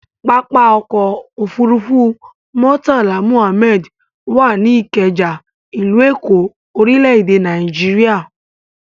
Pápá-ọkọ̀ òfurufú Murtala Muhammed wà ní Ìkẹjà, ìlú Èkó, orílẹ̀-èdè Nàíjíríà.